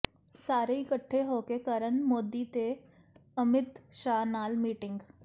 ਸਾਰੇ ਇਕੱਠੇ ਹੋ ਕੇ ਕਰਨ ਮੋਦੀ ਤੇ ਅਮਿਤ ਸ਼ਾਹ ਨਾਲ ਮੀਟਿੰਗ